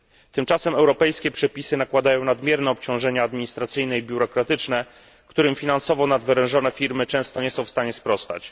Tymczasem europejskie przepisy nakładają nadmierne obciążenia administracyjne i biurokratyczne, którym finansowo nadwerężone firmy często nie są w stanie sprostać.